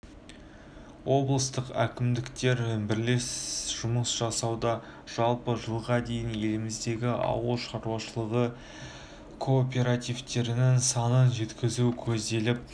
облыстық әкімдіктер бірлес жұмыс жасауда жалпы жылға дейін еліміздегі ауыл шаруашылығы кооперативтерінің санын жеткізу көзделіп